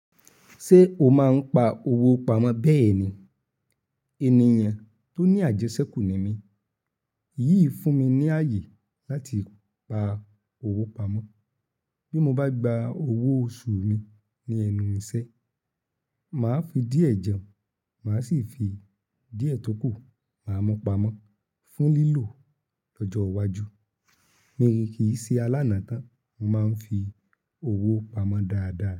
Ṣé o máa ń pa owó pamọ́ bẹ́ẹ̀ ni? Ènìyàn tó ní àjẹsẹ́kù ni mí. Yíì fún mi ní ààyè láti pa owó pamọ́. Bí mo bá gba owó oṣù mi ní ẹnu ìṣẹ́, màá fi díẹ̀ jẹun, màá sì fi díẹ̀ tókù máa mu pamọ́ fún lílò lọ́jọ́ iwájú. Mi kì í ṣe alánà tán, mo máa ń fi owó pamọ́ dáadáa.